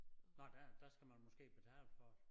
Nåh der der skal man måske betale for det